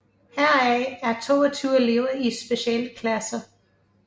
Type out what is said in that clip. Heraf er 22 elever i specialklasser